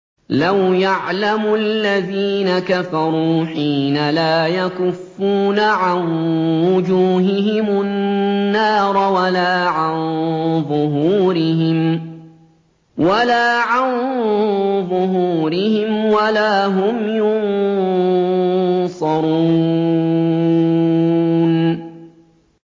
لَوْ يَعْلَمُ الَّذِينَ كَفَرُوا حِينَ لَا يَكُفُّونَ عَن وُجُوهِهِمُ النَّارَ وَلَا عَن ظُهُورِهِمْ وَلَا هُمْ يُنصَرُونَ